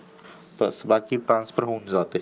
तर बाकी transfer होऊन जाते.